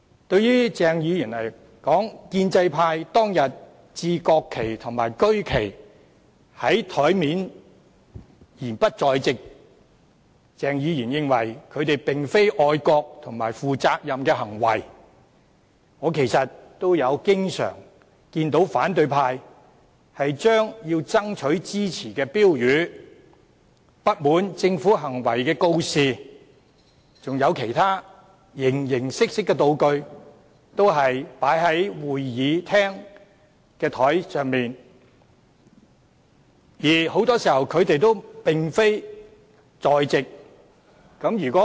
對於鄭議員的說法指他認為建制派當天在桌上擺放國旗及區旗而又不在席，並非愛國和負責任的行為，我其實也經常看到反對派把要爭取支持的標語、不滿政府行為的告示及其他形形色色的道具擺放在會議廳的桌上，而很多時他們亦不在席。